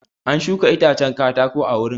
An shuka itacen katako a wurin.